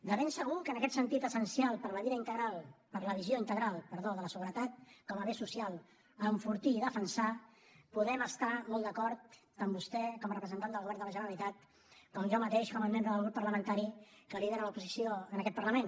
de ben segur que en aquest sentit essencial per a la visió integral de la seguretat com a bé social a enfortir i defensar podem estar molt d’acord tant vostè com a representat del govern de la generalitat com jo mateix com a membre del grup parlamentari que lidera l’oposició en aquest parlament